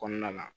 Kɔnɔna na